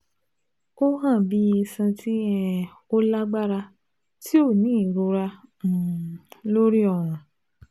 O han bi iṣan ti um o lagbara ti o ni irora um lori ọrun